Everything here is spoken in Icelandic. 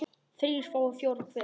þrír fái fjóra hver